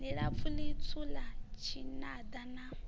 ḽilapfu ḽitswu ḽa tshinada na